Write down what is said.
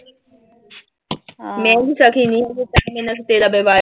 ਮੈਂ ਵੀ ਸਕੀ ਨੀਂ